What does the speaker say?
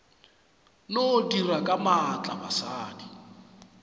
no dira ka maatla basadi